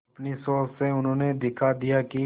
अपनी सोच से उन्होंने दिखा दिया कि